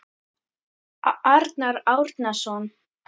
Arnar Árnason